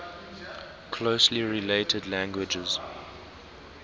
closely related languages